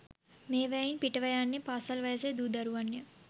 මේවායින් පිට ව යන්නේ පාසල් වයසේ දූ දරුවන් ය.